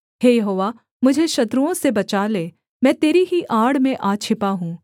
हे यहोवा मुझे शत्रुओं से बचा ले मैं तेरी ही आड़ में आ छिपा हूँ